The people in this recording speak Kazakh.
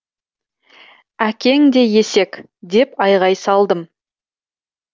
әкең де есек деп айғай салдым